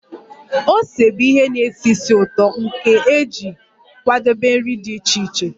Ose bụ ihe na-esi ísì ụtọ nke a ga-eji kwadebe nri dị iche iche